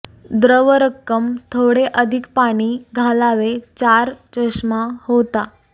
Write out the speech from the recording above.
द्रव रक्कम थोडे अधिक पाणी घालावे चार चष्मा होता